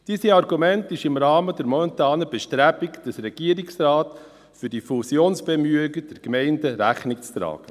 Diesem Argument ist im Rahmen der momentanen Bestrebungen des Regierungsrates für die Fusionsbemühungen der Gemeinden Rechnung zu tragen.